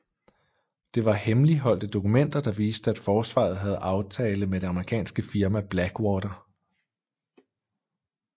Det var hemmeligholdte dokumenter der viste at Forsvaret havde aftale med det amerikanske firma Blackwater